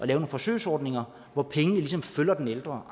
nogle forsøgsordninger hvor pengene ligesom følger den ældre